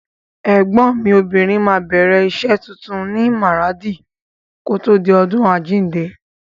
Ẹ̀gbọ́n mi obìnrin á bẹ̀rẹ̀ rẹ̀ iṣẹ́ tuntun ní Maradi kòtò di ọdún àjíǹde.